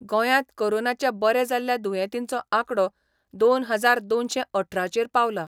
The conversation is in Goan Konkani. गोंयांत कोरोनाचे बरे जाल्ल्या दुयेंतीचो आंकडो दोन हजार दोनशे अठराचेर पावला.